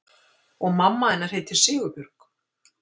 Og mamma hennar heitir Sigurbjörg?